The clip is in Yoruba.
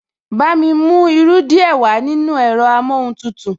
Bámi mú irú díẹ̀ wàá nínú ẹ̀rọ amóhuntutù